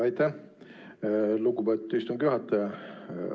Aitäh, lugupeetud istungi juhataja!